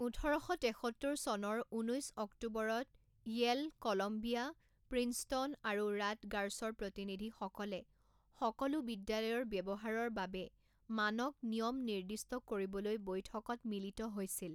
ওঠৰ শ তেসত্তৰ চনৰ ঊনৈছ ​​অক্টোবৰত য়েল, কলম্বিয়া, প্ৰিন্সটন আৰু ৰাটগাৰ্ছৰ প্ৰতিনিধিসকলে সকলো বিদ্যালয়ৰ ব্যৱহাৰৰ বাবে মানক নিয়ম নিৰ্দিষ্ট কৰিবলৈ বৈঠকত মিলিত হৈছিল।